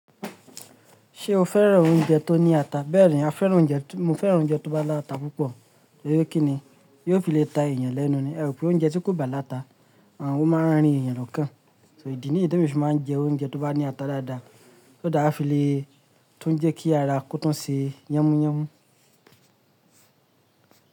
Ṣé o fẹ́ran oúnjẹ tó ní ata? Bẹ́ẹ̀ni, a fẹ́ran oúnjẹ, mo fẹ́ran oúnjẹ tó bá láta púpọ̀. Torí kí ni? Yóò fi lè ta èèyàn lẹ́nu ni. Ẹ rò pé oúnjẹ tí kò bá láta, àwọn ó máa ń rín èèyàn lọ́kàn. So ìdí ni temi fi máa ń jẹ oúnjẹ tó bá ní ata dáadáa, kí ó dára fi lè tún jẹ́ kí ara kó tún ṣe yẹ́múyẹ́mú.